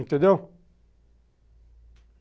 Entendeu?